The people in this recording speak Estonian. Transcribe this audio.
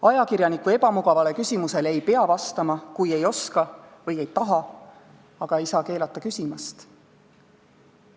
Ajakirjaniku ebamugavale küsimusele ei pea vastama, kui ei oska või ei taha, aga ei saa keelata küsimast.